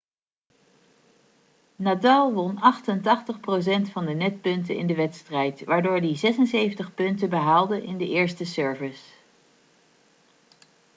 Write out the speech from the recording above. nadal won 88% van de netpunten in de wedstrijd waardoor hij 76 punten behaalde in de eerste service